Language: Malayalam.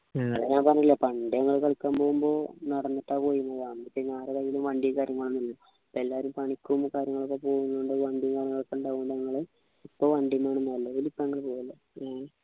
ഞാൻ പറഞ്ഞില്ലേ പണ്ടേ ഞങ്ങള് കളിയ്ക്കാൻ പോകുമ്പോ നടന്നിട്ടാ പോയിരുന്നത് പിന്നെ ആരെ കയ്യിലും വണ്ടി കാര്യങ്ങളും ഒന്നുമില്ല പ്പോ എല്ലാരും പണിക്കും കാര്യങ്ങളൊക്കെ ചെയ്യുന്ന കൊണ്ട് വണ്ടി കാര്യങ്ങളൊക്കെ ഉണ്ടാകും ഇപ്പൊ വണ്ടി നിലവിലിപ്പോ അങ്ങനെ പോവാറില്ല